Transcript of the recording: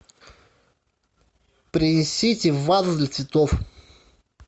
принесите вазу для цветов